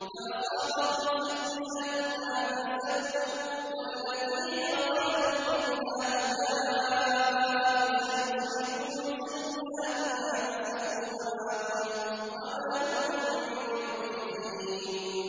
فَأَصَابَهُمْ سَيِّئَاتُ مَا كَسَبُوا ۚ وَالَّذِينَ ظَلَمُوا مِنْ هَٰؤُلَاءِ سَيُصِيبُهُمْ سَيِّئَاتُ مَا كَسَبُوا وَمَا هُم بِمُعْجِزِينَ